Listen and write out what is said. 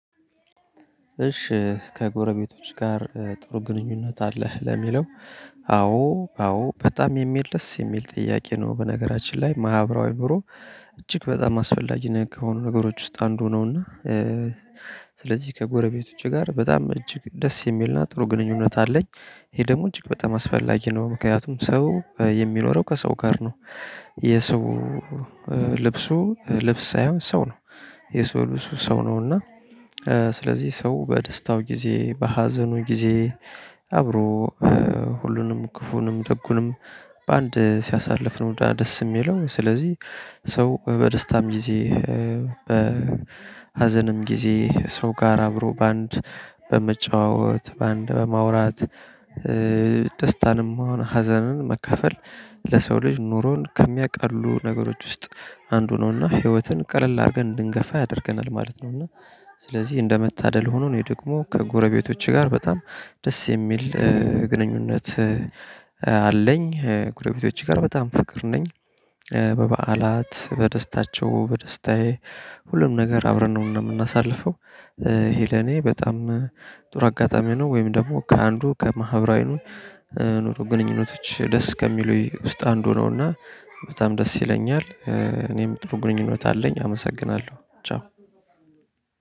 እሺ ከጎረቤቶች ጋር ጥሩ ግንኙነት አለህ ለሚለው? አዎ አዎ በጣም የሚል ደስ የሚል ጥያቄ ነው። በነገራችን ላይ ማህበራዊ ኑሮ። እጅግ በጣም አስፈላጊ ነገር ከሆኑ ነገሮች ውስጥ አንዱ ነውና። ስለዚህ ከጎረቤቶቼ ጋር በጣም እጅግ ደስ የሚልና ጥሩ ግንኙነት አለኝ። ይሄ ደግሞ እጅግ በጣም አስፈላጊ ነው ምክንያቱም ሰው የሚኖረው ከሰው ጋር ነው። የሰው ልብሱ ልብስ ሳይሆን ሰው ነው። የሰው ልብሱ ሰው ነው። እና። ስለዚህ ሰው በደስታው ጊዜ በሀዘኑ ጊዜ አብሮ ሁሉንም ክፉንም ደጉንም በአንድ ሲያሳልፍ ነው ደስ የሚለው። ስለዚህ። ሰው በደስታም ጊዜ በሀዘንም ጊዜ ሰው ጋር አብሮ በአንድ በመጫወት በአንድ በማውራት። ደስታንም ብሆን ሀዘንን መካፈል ለሰው ልጅ ኑሮን ከሚያቃሉ ነገሮች ውስጥ አንዱ ነውና። ህይወትን ቀለል አድርገን እንድንገፋ ያደርገናል ማለት ነውና። ስለዚህ እንደመታደል ሆኖ እኔ ደግሞ ከጎረበቶቼ ጋር በጣም ደስ የሚል ግኑኝነት። አለኝ ጎረቤቶቼ ጋር በጣም ፍቅር ነኝ። በበዓላት በደስታቸው በደስታዬ ሁሉም ነገር አብረን ነው የምናሳልፈው። ይሄ ለኔ በጣም ጥሩ አጋጣሚ ነው። ወይም ደግሞ ከአንዱ ከማህበራዊ ኑሮ ግንኙነቶች ደስ ከሚሉኝ ውስጥ አንዱ ነውና። በጣም ደስ ይለኛል እኔም ጥሩ ግንኙነት አለኝ አመሰግናለሁ። ቻው።